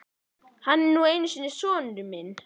Hann er nú einu sinni sonur minn.